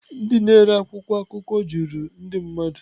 Ndị na-ere akwụkwọ akụkọ juru ndị mmadụ.